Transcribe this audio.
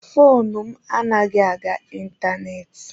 Foonu m anaghị aga ịntanetị.